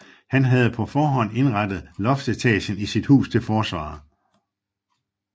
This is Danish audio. Han havde på forhånd indrettet loftsetagen i sit hus til forsvar